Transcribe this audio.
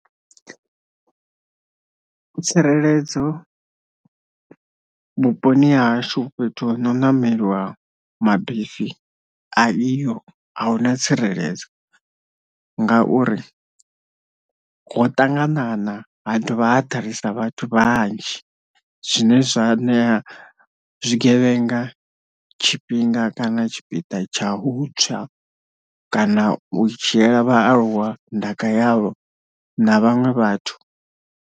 Tsireledzo vhuponi hashu fhethu ho no ṋameliwa mabisi a iho a huna tsireledzo, ngauri ho ṱanganana ha dovha ha ḓalesa vhathu vhanzhi zwine zwa ṋea zwigevhenga tshifhinga kana tshipiḓa tsha u tswa kana u dzhiela vhaaluwa ndaka yavho na vhaṅwe vhathu.